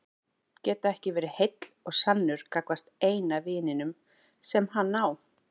Geta ekki verið heill og sannur gagnvart eina vininum sem hann á.